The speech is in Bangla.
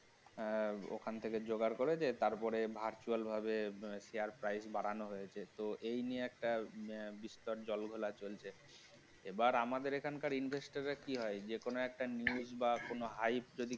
আহ ওখান থেকে জোগাড় করেছে তারপরে virtual ভাবে share price বাড়ানো হয়েছে এই নিয়ে একটা বিস্তর জল ঘোলা চলছে এবার আমাদের এখানকার investor রা কি হয় যেকোনো একটা news বা কোন hide তৈরি